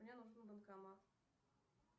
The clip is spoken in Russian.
мне нужен банкомат